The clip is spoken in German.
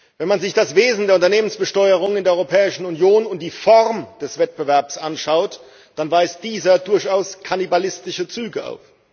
Wenn man sich das Wesen der Unternehmensbesteuerung in der Europäischen Union und die Form des Wettbewerbs anschaut, dann weist dieser durchaus kannibalistische Züge auf.